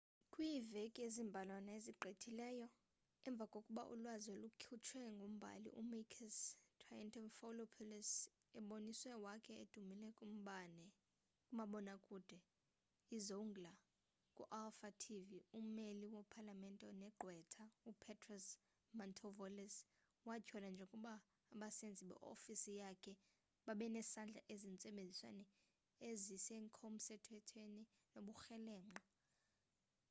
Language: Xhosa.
kwiiveki ezimbalwana ezigqithileyo emvakoba ulwazi olukhutshwe ngumbhali u-makis triantafylopoulos embonisweni wakhe odumileyo kumabona kude izoungla ku-alpha tv ummeli wo-palamente negqwetha upetros mantaouvalos watyholwa njengoba abasenzi be-ofisi yakhe babenesandla ezintsebenzweni ezingekhosemthethweni nobukrelemnqa